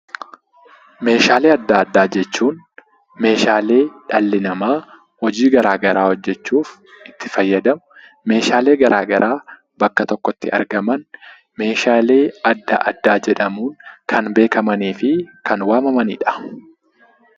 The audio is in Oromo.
Meeshaalee adda addaa jechuun meeshaalee dhalli namaa hojii gara garaa hojjechuuf itti fayyadamu, meeshaalee gara garaa bakka tokkotti argaman 'Meeshaalee adda addaa' jedhamuun kan beekamanii fi kan waamamani dha.